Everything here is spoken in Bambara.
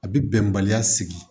A bi bɛnbaliya sigi